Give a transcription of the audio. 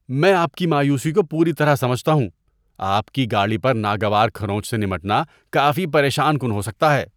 میں آپ کی مایوسی کو پوری طرح سمجھتا ہوں۔ آپ کی گاڑی پر ناگوار کھرونچ سے نمٹنا کافی پریشان کن ہو سکتا ہے۔